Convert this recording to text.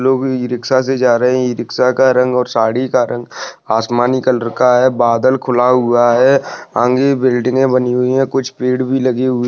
लोग ई-रिक्शा से जा रहे हैं ई-रिक्शा का रंग और साड़ी का रंग आसमानी कलर का हैं बादल खुला हुआ हैं आंगे बिल्डिंगे बनी हुई हैं। कुछ पेड़ भी लगी हुई--